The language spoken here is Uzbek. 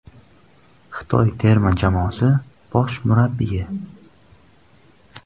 Xitoy terma jamoasi bosh murabbiyi.